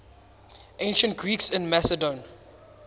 ancient greeks in macedon